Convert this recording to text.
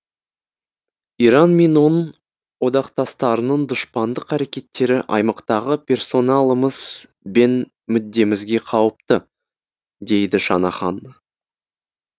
иран мен оның одақтастарының дұшпандық әрекеттері аймақтағы персоналымыз бен мүддемізге қауіпті дейді шанахан